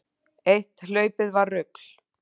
Eitt hlaupið var rugl.